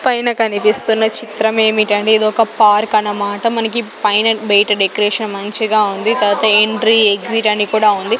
పైన కనిపిస్తున్న చిత్రమేమిటంటే ఇదొక పార్క్ అనమాట మనకి పైన బెయ్ట డెకరేషన్ మంచిగా ఉంది తర్వాత ఎంట్రీ ఎగ్జిట్ అని కూడా ఉంది.